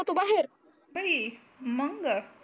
मंग